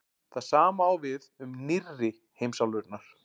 það sama á við um „nýrri“ heimsálfurnar